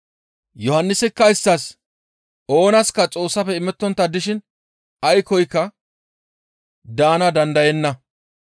Yohannisikka isttas, «Oonaska Xoossafe imettontta dishin aykkoyka daana dandayenna.